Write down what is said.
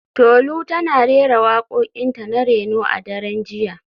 Tolu tana rera wakokinta na reno a daren jiya